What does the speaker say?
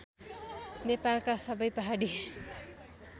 नेपालका सबै पहाडी